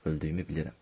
Öldüyümü bilirəm.